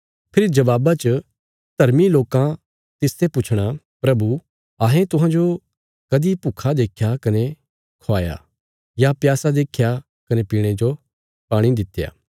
फेरी जबाबा च धर्मी लोकां तिसते पुछणा प्रभु अहें तुहांजो कदीं भुक्खा देख्या कने ख्वाया या प्यासा देख्या कने पीणे जो दित्या